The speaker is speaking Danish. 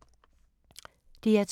DR P2